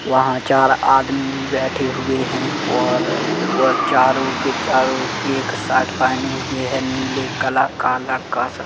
वहां चार आदमी भी बैठे हुए हैं और वह चारो के चारो एक शर्ट पेहने हुए हैं नीले कलर का लड़का सा--